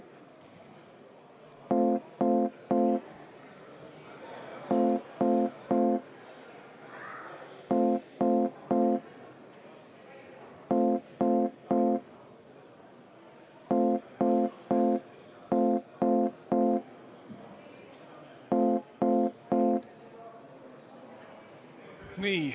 Nii.